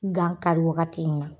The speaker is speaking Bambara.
Gan kari wagati in na